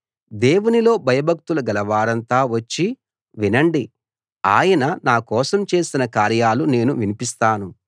దేవునిలో భయభక్తులు గలవారంతా వచ్చి వినండి ఆయన నా కోసం చేసిన కార్యాలు నేను వినిపిస్తాను